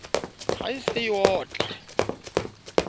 ha e se e otla